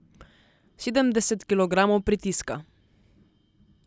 Sedemdeset kilogramov pritiska.